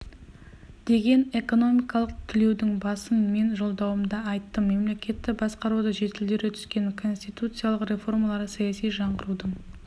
деген экономикалық түлеудің басын мен жолдауымда айттым мемлекетті басқаруды жетілдіре түскен конституциялық реформалар саяси жаңғырудың